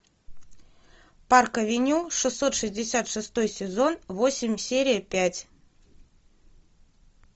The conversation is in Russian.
парк авеню шестьсот шестьдесят шестой сезон восемь серия пять